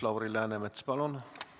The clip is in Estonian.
Lauri Läänemets, palun!